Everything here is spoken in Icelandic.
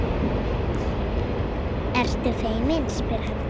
Ertu feimin, spyr hann.